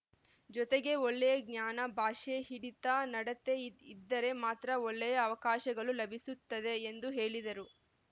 ಜೊತೆಗೆ ಒಳ್ಳೆಯ ಜ್ಞಾನ ಭಾಷೆ ಹಿಡಿತ ನಡತೆ ಇದ್ದರೆ ಮಾತ್ರ ಒಳ್ಳೆಯ ಅವಕಾಶಗಳು ಲಭಿಸುತ್ತವೆ ಎಂದು ಹೇಳಿದರು